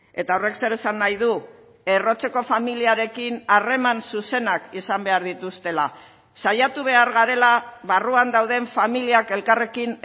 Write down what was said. eta horrek zer esan nahi du errotzeko familiarekin harreman zuzenak izan behar dituztela saiatu behar garela barruan dauden familiak elkarrekin